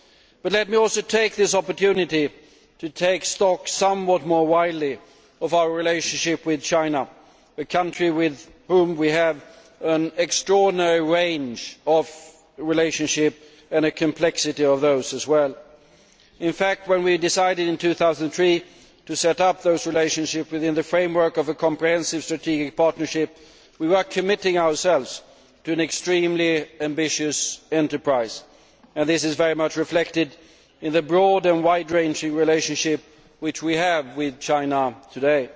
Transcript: But let me also take this opportunity to take stock somewhat more widely of our relationship with China, a country with which we have an extraordinary range of complex relationships. In fact, when we decided in 2003 to set up those relationships within the framework of a comprehensive strategic partnership, we were committing ourselves to an extremely ambitious enterprise, and this is very much reflected in the broad and wide ranging relationship which we have with China today.